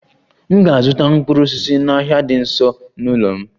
M ga-azụta mkpụrụ osisi n'ahịa dị nso n'ụlọ m